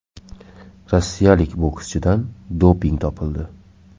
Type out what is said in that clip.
Rossiyalik bokschidan doping topildi.